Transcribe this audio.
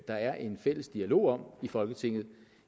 der er en fælles dialog om i folketinget